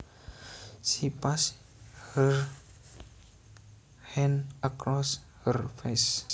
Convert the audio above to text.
She passed her hand across her face